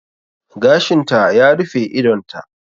Gashinta ya rufe idonta.